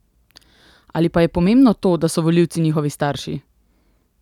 Ali pa je pomembno to, da so volivci njihovi starši?